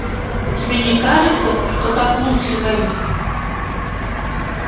тебе не кажется что так лучше мелли